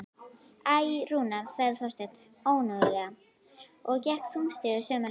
Æ, Rúna sagði Þorsteinn önuglega og gekk þungstígur sömu leið.